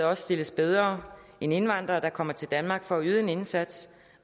også stilles bedre end indvandrere der kommer til danmark for at yde en indsats